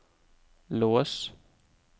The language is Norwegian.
lås